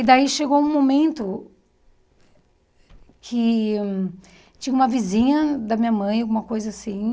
E daí chegou um momento que tinha uma vizinha da minha mãe, alguma coisa assim.